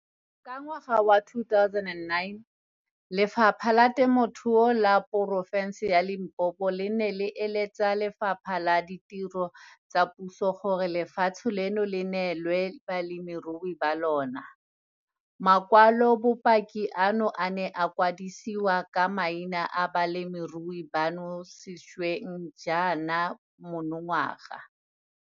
Ka ngwaga wa 2009, Lefapha la Temothuo la Poro fense ya Limpopo le ne la eletsa Lefapha la Ditiro tsa Puso gore lefatshe leno le neelwe balemirui ba lona. Makwalobopaki ano a ne a kwadisiwa ka maina a balemirui bano sešweng jaana monongwaga.